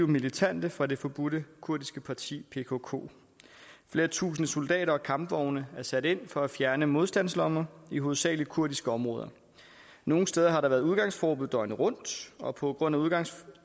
militante fra det forbudte kurdiske parti pkk flere tusinde soldater og kampvogne er sat ind for at fjerne modstandslommer i hovedsagelig kurdiske områder nogle steder har der været udgangsforbud døgnet rundt og på grund af udgangsforbuddet